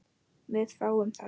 Við fáum þá